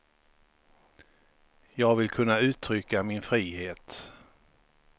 Jag vill kunna uttrycka min frihet.